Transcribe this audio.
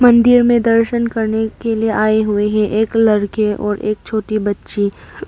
मंदिर में दर्शन करने के लिए आए हुए हैं एक लड़के और एक छोटी बच्ची।